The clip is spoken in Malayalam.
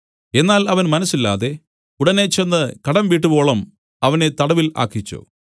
എന്നാൽ അവൻ മനസ്സില്ലാതെ ഉടനെ ചെന്ന് കടം വീട്ടുവോളം അവനെ തടവിൽ ആക്കിച്ചു